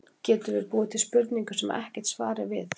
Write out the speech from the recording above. Getum við búið til spurningu, sem ekkert svar er til við?